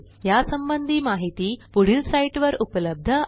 यासंबंधी माहिती पुढील साईटवर उपलब्ध आहे